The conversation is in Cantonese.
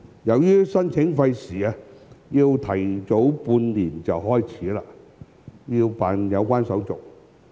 由於申請費時，需預早半年開始辦理有關手續。